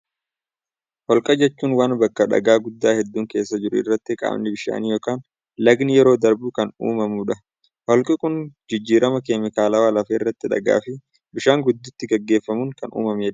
Holqa jechuun waan bakka dhagaa guddaa hedduun keessa jiru irratti qaamni bishaanii yokin lagni yeroo darbu kan uumamuu dha. Holqi kun jijjirama keemikaalawaa lafa irratti dhagaa fi bishaan gidduutti gaggeeffamuun kan uumamee dha.